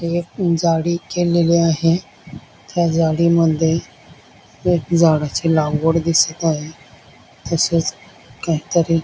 एक झाडी केलेली आहे त्या झाडीमध्ये एक झाडाची लागवड दिसत आहे तसेच काहीतरी --